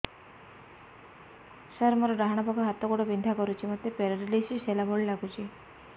ସାର ମୋର ଡାହାଣ ପାଖ ହାତ ଗୋଡ଼ ବିନ୍ଧା କରୁଛି ମୋତେ ପେରାଲିଶିଶ ହେଲା ଭଳି ଲାଗୁଛି